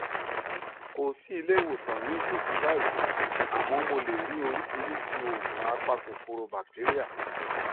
kò sí ilé ìwòsàn ní ìtòsí báyìí àmọ mo lè rí oríṣiríṣi òògùn apa kòkòrò batéríà